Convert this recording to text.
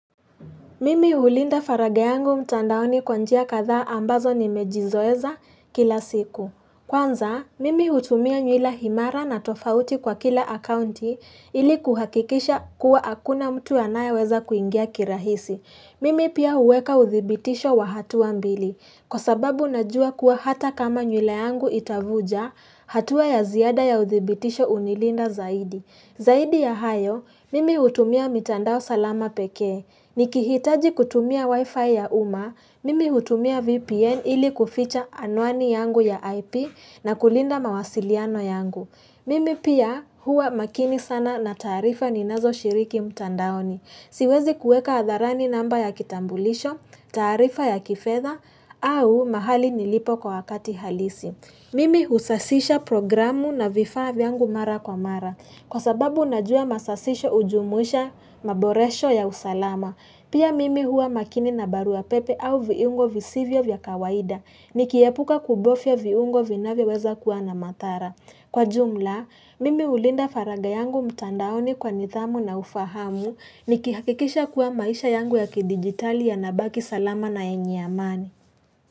Mimi hulinda faraga yangu mtandaoni kwa njia katha ambazo nimejizoeza kila siku. Kwanza, mimi hutumia nywila himara na tofauti kwa kila akaunti ili kuhakikisha kuwa hakuna mtu anaye weza kuingia kirahisi. Mimi pia huweka uthibitisho wa hatu mbili. Kwa sababu najua kuwa hata kama nywila yangu itavuja hatua ya ziada ya uthibitisho unilinda zaidi. Zaidi ya hayo, mimi hutumia mitandao salama pekee. Ni kihitaji kutumia wifi ya uma, mimi hutumia VPN ili kuficha anwani yangu ya IP na kulinda mawasiliano yangu. Mimi pia huwa makini sana na taarifa ni nazo shiriki mtandaoni. Siwezi kueka hatharani namba ya kitambulisho, taarifa ya kifedha au mahali nilipo kwa wakati halisi. Mimi husasisha programu na vifaa vyangu mara kwa mara. Kwa sababu najua masasisho hujumuisha maboresho ya usalama. Pia mimi hua makini na barua pepe au viungo visivyo vya kawaida ni kiepuka kubofya viungo vinaweweza kuwa na mathara. Kwa jumla, mimi hulinda faraga yangu mtandaoni kwa nidhamu na ufahamu ni kihakikisha kuwa maisha yangu ya kidigitali ya nabaki salama na yenye amani.